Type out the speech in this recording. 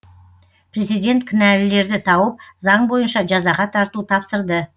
президент кінәлілерді тауып заң бойынша жазаға тарту тапсырды